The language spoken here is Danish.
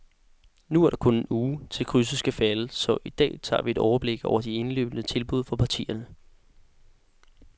Nu er der kun en uge, til krydset skal falde, så i dag tager vi et overblik over de indløbne tilbud fra partierne.